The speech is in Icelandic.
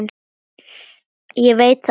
Ég veit það alveg.